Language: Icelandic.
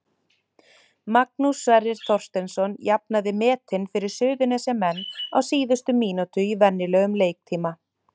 Magnús Sverrir Þorsteinsson jafnaði metin fyrir Suðurnesjamenn á síðustu mínútu í venjulegum leiktíma.